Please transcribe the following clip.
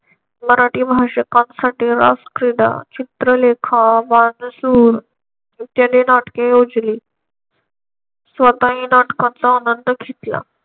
मराठी भाषिकांसाठी रासक्रीडा चित्रलेखा वानसुर इत्यादी नाटके योजली. स्वतःही नाटकांचा आनंद घेतला.